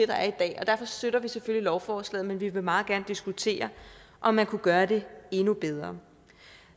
der er i dag og derfor støtter vi selvfølgelig lovforslaget men vi vil meget gerne diskutere om man kunne gøre det endnu bedre